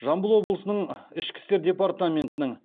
жамбыл облысының ішкі істер департаментінің